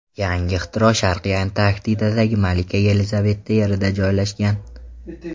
Yangi ixtiro Sharqiy Antarktidadagi Malika Yelizaveta Yerida joylashgan.